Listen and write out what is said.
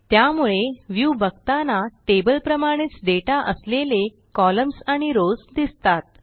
त्यामुळे व्ह्यू बघताना टेबलप्रमाणेच डेटा असलेले कॉलम्न्स आणि रॉव्स दिसतात